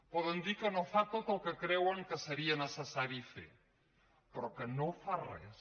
poden dir que no fa tot el que creuen que seria necessari fer però que no fa res